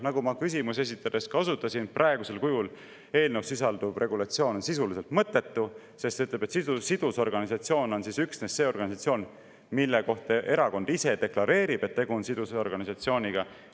Nagu ma küsimusi esitades osutasin, praegusel kujul eelnõus sisalduv regulatsioon on sisuliselt mõttetu, sest ütleb, et sidusorganisatsioon on üksnes see organisatsioon, mille kohta erakond ise deklareerib, et tegu on sidusorganisatsiooniga.